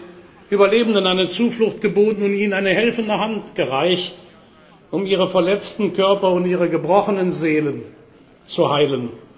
Sie haben den Überlebenden eine Zuflucht geboten und ihnen eine helfende Hand gereicht, um ihre verletzten Körper und ihre gebrochenen Seelen zu heilen.